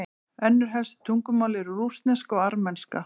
önnur helstu tungumál eru rússneska og armenska